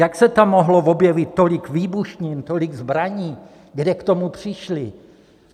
Jak se tam mohlo objevit tolik výbušnin, tolik zbraní, kde k tomu přišli?